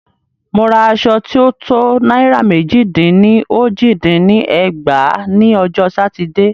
Mo ra aṣọ tí o to náírà mẹ́jì dín ní ójì dín ní ẹgbàá ní ọjọ́ Sátidé.